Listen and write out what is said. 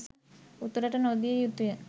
උතුරට නොදිය යුතුය